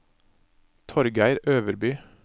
Torgeir Øverby